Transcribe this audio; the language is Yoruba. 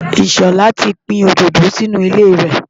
Ìṣọ̀lá ti gbin òdòdó sí inú ilé rẹ̀.